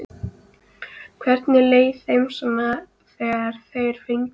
Hvernig leið þeim svo þegar þeir fengu fréttirnar?